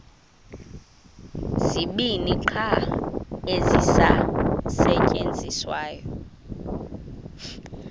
zibini qha ezisasetyenziswayo